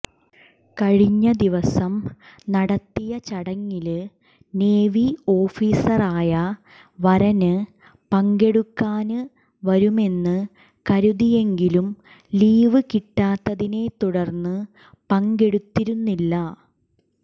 കഴിഞ്ഞ ദിവസം നടത്തിയ ചടങ്ങില് നേവി ഓഫീസറായ വരന് പങ്കെടുക്കാന് വരുമെന്ന് കരുതിയെങ്കിലും ലീവ് കിട്ടാത്തതിനെ തുടര്ന്ന് പങ്കെടുത്തിരുന്നില്ല